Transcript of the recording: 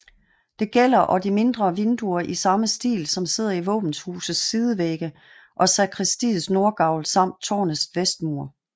Det gælder og de mindre vinduer i samme stil som sidder i våbenhusets sidevægge og sakristiets nordgavl samt tårnets vestmur